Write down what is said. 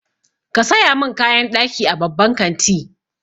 Ka saya min kayan ɗaki a babban kanti.